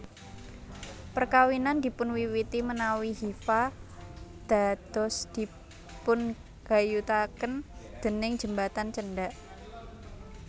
Perkawinan dipunwiwiti menawi hifa dados dipungayutaken déning jembatan cendhak